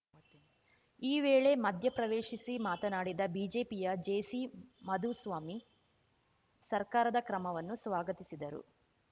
ಈ ವೇಳೆ ಮಧ್ಯಪ್ರವೇಶಿಸಿ ಮಾತನಾಡಿದ ಬಿಜೆಪಿಯ ಜೆಸಿಮಾಧುಸ್ವಾಮಿ ಸರ್ಕಾರದ ಕ್ರಮವನ್ನು ಸ್ವಾಗತಿಸಿದರು